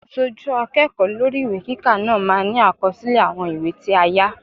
Aṣojú akẹ́kọ̀ọ́ lórí ìwé kíkà náà máa ní àkọsílẹ̀ àwọn ìwé tí a yá.